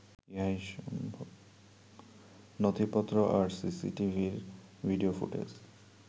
নথিপত্র আর সিসিটিভির ভিডিও ফুটেজ